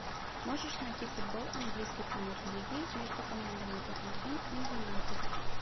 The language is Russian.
можешь найти футбол английской премьер лиги между командами тоттенхэм и юнайтед